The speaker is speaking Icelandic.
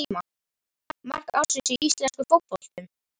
Mark ársins í íslenska fótboltanum?